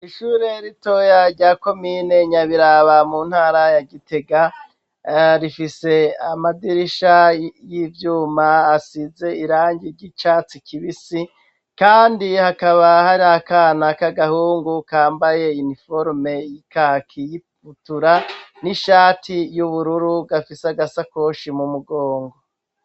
Ishure ritoyaryako miyinenya biraba mu ntara ya gitega rifise amadirisha y'ivyuma asize irangi ry'icatsi kibisi, kandi hakaba hari akana k'agahungu kambaye iniforume ikakiyibutura n'ishati y'uburuuwa ru gafise agasakoshi mu mugongo.